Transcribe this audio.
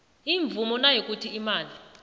imvumo nayikuthi imali